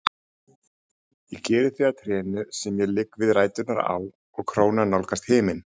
Ég geri þig að trénu sem ég ligg við ræturnar á og krónan nálgast himin.